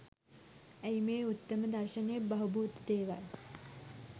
ඇයි මේ උත්තම දර්ශණය බහූබූත දේවල්